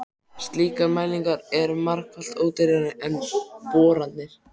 Slíkar mælingar eru margfalt ódýrari en boranir.